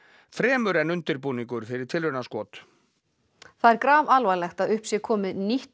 fremur en undirbúningur fyrir tilraunaskot það er grafalvarlegt að upp sé komið nýtt